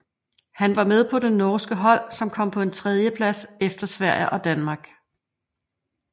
Han var med på det norske hold som kom på en tredjeplads efter Sverige og Danmark